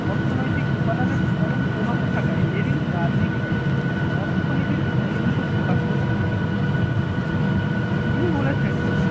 অর্থনৈতিক উপাদানের চরম প্রভাব থাকায় লেলিন রাজনীতিকে অর্থনীতির ঘনীভূত প্রকাশ বলে মনে করেছেন। তিনি বলেছেন